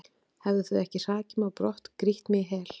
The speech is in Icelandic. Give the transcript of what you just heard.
hefðu þau ekki hrakið mig á brott, grýtt mig í hel?